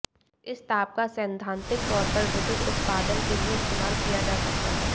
इस ताप का सैद्धांतिक तौर पर विद्युत उत्पादन के लिए इस्तेमाल किया जा सकता है